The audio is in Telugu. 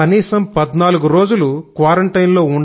కనీసం 14 రోజులు క్వారంటైన్ లో